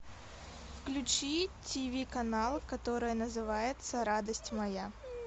включи тв канал который называется радость моя